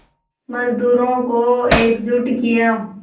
मज़दूरों को एकजुट किया